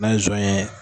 N'a ye zon ye